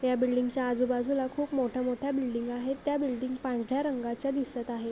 या बिल्डिंगच्या आजूबाजूला खूप मोठ्या मोठ्या बिल्डिंग आहेत. त्या बिल्डिंग पांढर्‍या रंगाच्या दिसत आहे.